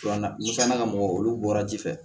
Filanan ni filanan mɔgɔ olu bɔra ji fɛ